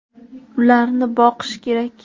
Ularni boqish kerak.